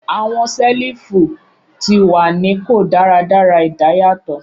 Awọn selifu ti wa ni ko daradara idayatọ